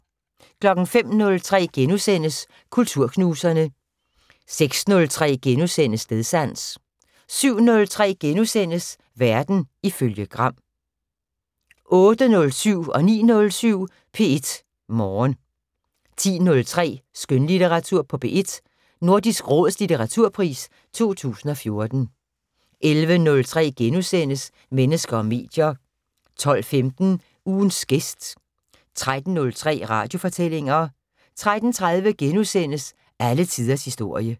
05:03: Kulturknuserne * 06:03: Stedsans * 07:03: Verden ifølge Gram * 08:07: P1 Morgen 09:07: P1 Morgen 10:03: Skønlitteratur på P1: Nordisk Råds litteraturpris 2014 11:03: Mennesker og medier * 12:15: Ugens gæst 13:03: Radiofortællinger 13:30: Alle tiders historie *